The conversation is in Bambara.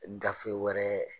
Ngafe wɛrɛ